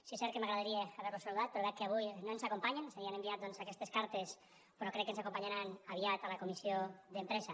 sí és cert que m’agradaria haver los saludat però veig que avui no ens acompanyen és a dir han enviat doncs aquestes cartes però crec que ens acompanyaran aviat a la comissió d’empresa